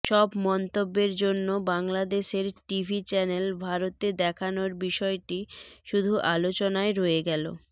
সব মন্তব্যের জন্য বাংলাদেশের টিভি চ্যানেল ভারতে দেখানোর বিষয়টি শুধু আলোচনায় রয়ে গেল